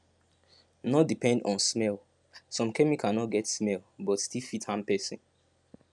no depend on smellsome chemical no no get smell but still fit harm person